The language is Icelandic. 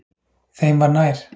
Þeim var nær.